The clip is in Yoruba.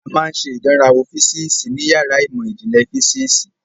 A máa ń ṣe ìdánrawò físíìsì ní yàrá ìmọ̀ ìjìnlẹ̀ físíìsì.